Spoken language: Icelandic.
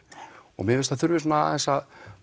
og mér finnst að það þurfi svona aðeins að